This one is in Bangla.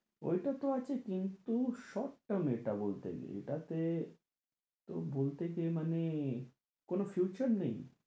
ওই টাতো আছে কিন্তু শখটা মেটা বলতে গেলে, এটাতে বলতে কি মানে, কোনো future নেই